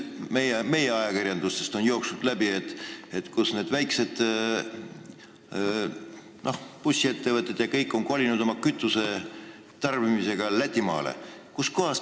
Veel on ajakirjandusest läbi jooksnud, et väikesed bussiettevõtted ostavad kogu oma kütuse Lätimaalt.